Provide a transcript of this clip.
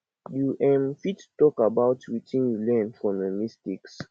you um fit talk about wetin you learn from your mistakes